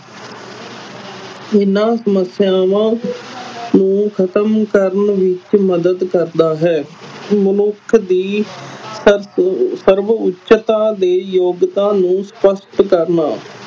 ਇਹਨਾਂ ਸਮੱਸਿਆਵਾਂ ਨੂੰ ਖ਼ਤਮ ਕਰਨ ਵਿੱਚ ਮਦਦ ਕਰਦਾ ਹੈ ਮਨੁੱਖ ਦੀ ਸਰਵ ਸਰਵਉੱਚਤਾ ਤੇ ਯਗੋਤਾ ਨੂੰ ਸਪਸਟ ਕਰਨਾ,